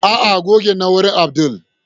ah ah gogen nawurin Abdul